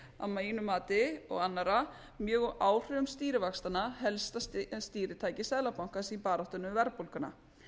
að mínu mati og annarra mjög úr áhrifum stýrivaxtanna helsta stýritæki seðlabankans í baráttunni við verðbólguna